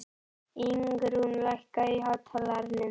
Ingrún, lækkaðu í hátalaranum.